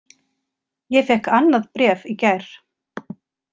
Ég fékk annað bréf í gær.